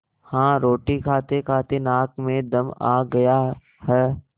हाँ रोटी खातेखाते नाक में दम आ गया है